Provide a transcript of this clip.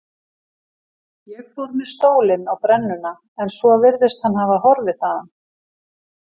Ég fór með stólinn á brennuna en svo virðist hann hafa horfið þaðan.